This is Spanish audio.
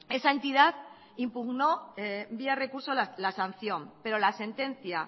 esa entidad impugnó vía recurso la sanción pero la sentencia